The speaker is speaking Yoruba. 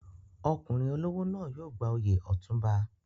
Ọkùnrin olówó náà yóò gba oyè Otunba.